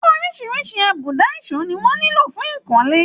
Orísirísi àbùdá ìso ni wọ́n nílò fún ìkọ́lé.